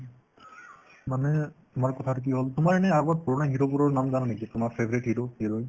মানে তোমাৰ কথাতো কি হ'ল তোমাৰ এনে আগত পুৰণা hero বোৰৰ নাম জানা নেকি তোমাৰ favourite hero কেইজন